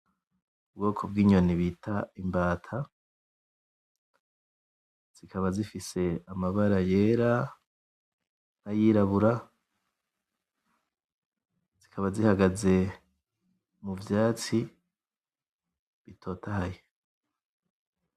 Ubwoko bw'inyoni bita imbata, zikaba zifise amabara yera n'ayirabura, zikaba zihagaze mu vyatsi bitotahaye.